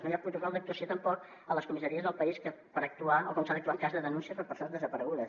no hi ha protocol d’actuació tampoc a les comissaries del país per saber com s’ha d’actuar en cas de denúncia per persones desaparegudes